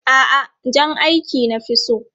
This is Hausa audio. A'a, jan aiki na fi so.